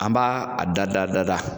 An b' a dada dada